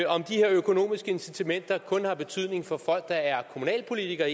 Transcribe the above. om de her økonomiske incitamenter kun har betydning for folk der er kommunalpolitikere